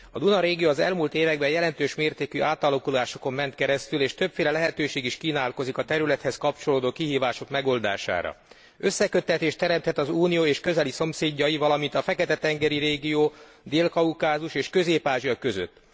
A Duna régió az elmúlt években jelentős mértékű átalakulásokon ment keresztül, és többféle lehetőség is kínálkozik a területhez kapcsolódó kihívások megoldására. Összeköttetést teremthet az Unió és közeli szomszédai, valamint a Fekete tengeri régió, Dél Kaukázus és Közép Ázsia között.